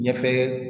Ɲɛfɛ